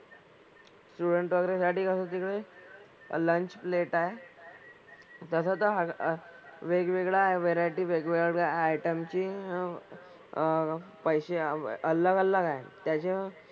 Students वगैरे साठी कसं तिकडे लंच प्लेट आहे. तसं तर हा अह वेगवेगळ्या व्हरायटी वेगवेगळ्या आयटमची अह पैसे अलग अलग आहे. त्याचे,